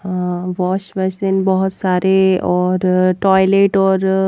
अ wash basin बहुत सारे और टॉयलेट और--